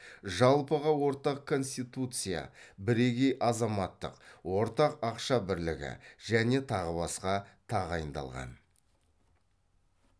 жалпыға ортақ конституция бірегей азаматтық ортақ ақша бірлігі және тағы басқа тағайындалған